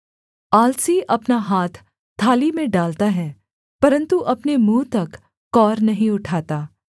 आलसी अपना हाथ थाली में डालता है परन्तु अपने मुँह तक कौर नहीं उठाता